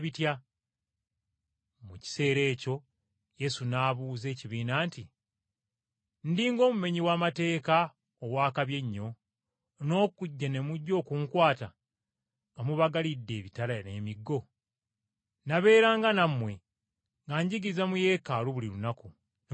Mu kiseera ekyo Yesu n’abuuza ekibiina nti, “Ndi ng’omumenyi w’amateeka ow’akabi ennyo, n’okujja ne mujja okunkwata nga mubagalidde ebitala n’emiggo? Nabeeranga nammwe nga njigiriza mu Yeekaalu buli lunaku, ne mutankwata.